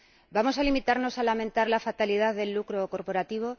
¿Vamos a limitarnos a lamentar la fatalidad del lucro corporativo?